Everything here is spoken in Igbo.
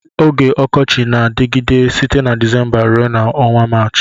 Oge ọkọchi na-adịgide site na Dịzémbá rue na ọnwa Maachị